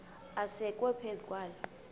asekwe phezu kwaloo